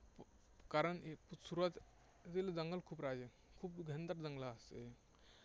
कारण सुरुवातीला जंगलं खूप राहायची, खूप घनदाट जंगलं असायची.